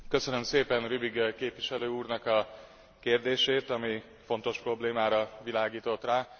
Köszönöm szépen Rübig képviselő úrnak a kérdését, ami fontos problémára világított rá.